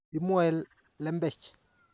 Imwoe lembech.